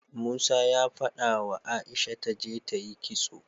Musa ya fadawa aisha taje tayi kitso